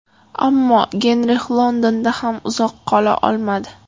Ammo Genrix Londonda ham uzoq qola olmadi.